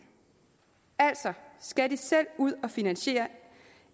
altså skal de selv ud at finansiere